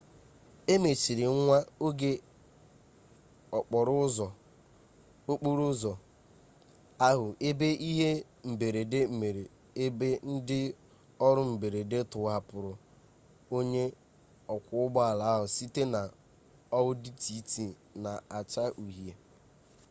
e mechiri nwa oge okporo ụzọ ahụ ebe ihe mberede mere ebe ndị ọrụ mberede tọhapụrụ onye ọkwọ ụgbọ ala ahụ site na audi tt na-acha uhie